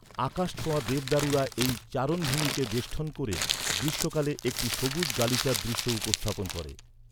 আকাশছোঁয়া দেবদারুরা এই চারণভূমিকে বেষ্টন করে গ্রীষ্মকালে একটি সবুজ গালিচার দৃশ্য উপস্থাপন করে।